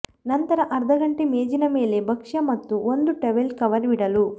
ನಂತರ ಅರ್ಧ ಗಂಟೆ ಮೇಜಿನ ಮೇಲೆ ಭಕ್ಷ್ಯ ಮತ್ತು ಒಂದು ಟವೆಲ್ ಕವರ್ ಬಿಡಲು